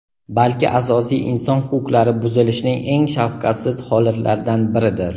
balki asosiy inson huquqlari buzilishining eng shafqatsiz holatlaridan biridir.